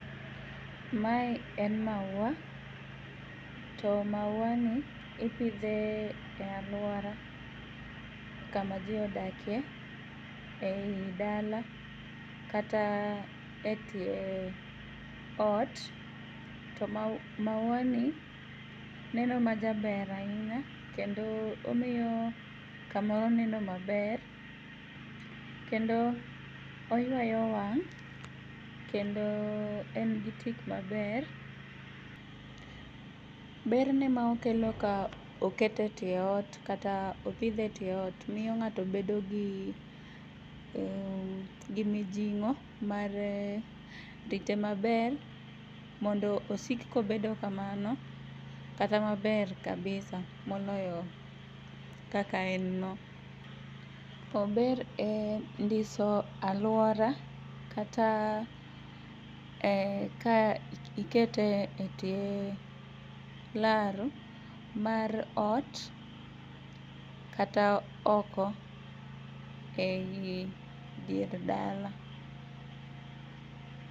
Mae en maua. To mauani ipidhe e aluora kama jii odakie ei dala kata e tie ot. To mauani neno majaber ainya kendo omiyo kamoro neno maber. Kendo oyuayo wang' kendo engi tik maber. Berne maokelo ka oketo tie ot kata opidhe e tie ot. Miyo ng'ato bedogi mijing'o mar rite maber mondo osik kobedo kamano kata maber kabisa moloyo kaka enno. Ober e ndiso aluora kata ka ikete e tie laro mar ot kata oko eidier dala.